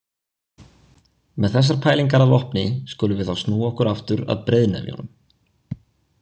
Með þessar pælingar að vopni skulum við þá snúa okkur aftur að breiðnefjunum.